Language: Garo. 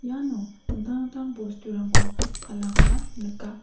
ano dingtang dingtang bosturangko palakoba nika.